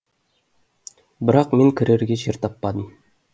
бірақ мен кірерге жер таппадым